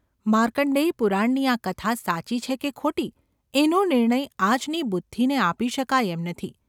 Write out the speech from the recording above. માર્કંણ્ડેય પુરાણની આ કથા સાચી છે કે ખોટી એનો નિર્ણય આજની બુદ્ધિને આપી શકાય એમ નથી.